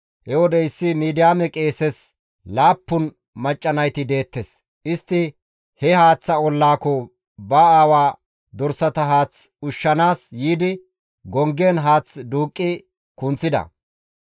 He wode issi Midiyaame qeeses laappun macca nayti deettes; istti he haaththa ollaako ba aawaa dorsata haath ushshanaas yiidi gonggen haath duuqqi kunththida.